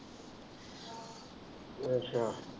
ਅੱਛਾ।